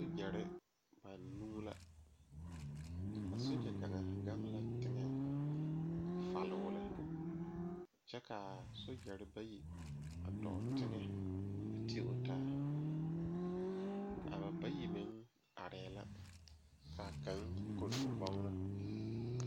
Soogyɛre banuu la a soogyɛ kaŋa gaŋ la teŋɛ faloo lɛ kyɛ ka soogyɛre bayi dɔɔ teŋɛ ti o taa a ba bayi meŋ arɛɛ la ka kaŋ kori o bɔgɔ.